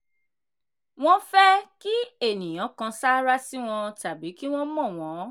wọ́n fẹ́ kí ènìyàn kan sáárá sí wọn tàbí kí wọ́n mọ wọn.